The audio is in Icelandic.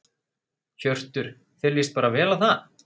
Hjörtur: Þér lýst bara vel á það?